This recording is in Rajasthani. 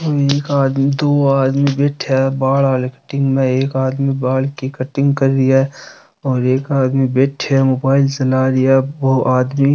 ओ एक आदमी दो आदमी बैठा बाल वाले कटिंग में एक आदमी बाल की कटिंग कर रही है और एक आदमी बैठे है मोबाईल चला रिया है बो आदमी --